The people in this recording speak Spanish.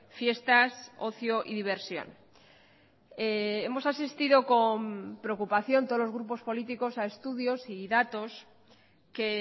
fiestas ocio y diversión hemos asistido con preocupación todos los grupos políticos a estudios y datos que